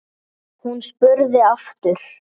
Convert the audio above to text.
Hún spurði aftur.